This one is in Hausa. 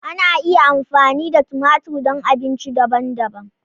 Ana iya amfani da tumatir don abinci daban-daban.